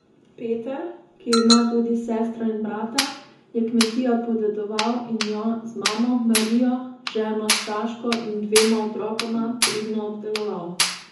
Peter, ki ima tudi sestro in brata, je kmetijo podedoval in jo, z mamo Marijo, ženo Saško in dvema otrokoma, pridno obdeloval.